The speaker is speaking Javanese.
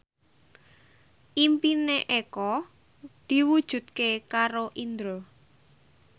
impine Eko diwujudke karo Indro